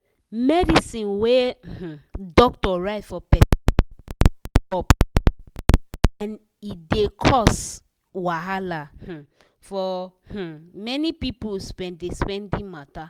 medicine wey um doctor write for person dey go-up everyday and e dey cos wahala um for um many people spendi-spendi matter.